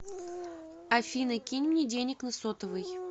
афина кинь мне денег на сотовый